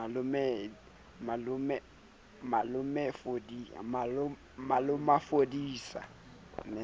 malomafodisa o ne a sa